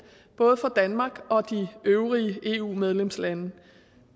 både for danmark og de øvrige eu medlemslande det